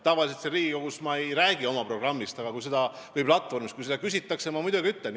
Tavaliselt siin Riigikogus ma ei räägi oma erakonna programmist või platvormist, aga kui küsitakse, siis ma muidugi ütlen.